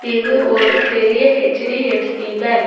இது ஒரு பெரிய ஹச்_டி_எஃப்_சி பேங்க் .